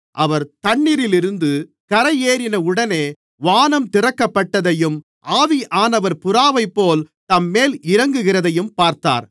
அவர் தண்ணீரில் இருந்து கரையேறின உடனே வானம் திறக்கப்பட்டதையும் ஆவியானவர் புறாவைப்போல தம்மேல் இறங்குகிறதையும் பார்த்தார்